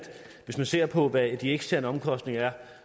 hvis man ser på hvad de eksterne omkostninger er